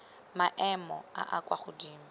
maemo a a kwa godimo